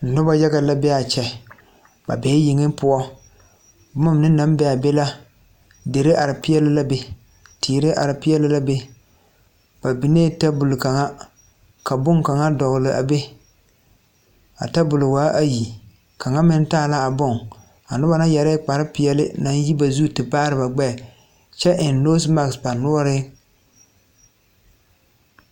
Noba yaga la be a kyɛ ba bee yeŋ poɔ boma mine naŋ be a be la dere are peɛle la be teere are peɛle la be ba biŋee tabol kaŋa ka boŋkaŋa a dogle a be a tabol waaayi a kaŋa meŋ taa la a boŋ noba yɛre la kparrepeɛle naŋ yi ba zu te baare ba gbɛɛ kyɛ eŋ noosi maki.